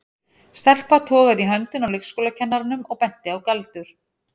Stelpa togaði í höndina á leikskólakennaranum og benti á Galdur.